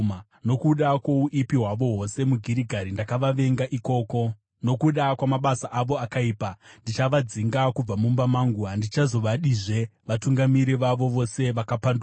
“Nokuda kwouipi hwavo hwose muGirigari, ndakavavenga ikoko. Nokuda kwamabasa avo akaipa, ndichavadzinga kubva mumba mangu. Handichazovadazve; vatungamiri vavo vose vakapanduka.